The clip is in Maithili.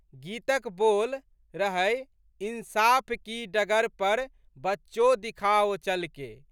गीतक बोल रहैइंसाफ की डगर पर बच्चों दिखाओ चलके...।